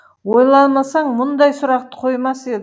ойламасаң мұндай сұрақты қоймас едің